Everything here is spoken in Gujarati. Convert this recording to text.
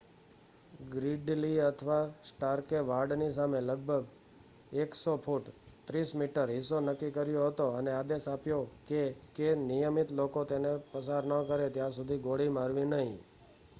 ગ્રીડલી અથવા સ્ટાર્કે વાડની સામે લગભગ 100 ફુટ 30 મી હિસ્સો નક્કી કર્યો હતો અને આદેશ આપ્યો કે કે નિયમિત લોકો તેને પસાર ન કરે ત્યાં સુધી ગોળી મારવી નહીં